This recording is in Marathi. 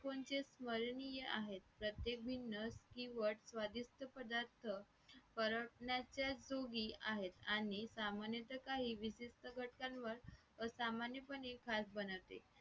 कोणचे स्वर्णीय आहेत प्रत्येक भिन्न चिवट किंवा स्वादिष्ट पदार्थ फरकण्याच्या दोघी आहेत आणि सामान्याच्या काही विशिष्ट घटकांवर असामान्यपणे खास बनवते